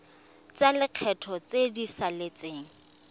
tsa lekgetho tse di saletseng